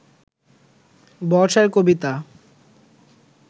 বর্ষার কবিতা